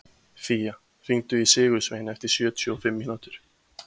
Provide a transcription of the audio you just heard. Fía, hringdu í Sigursvein eftir sjötíu og fimm mínútur.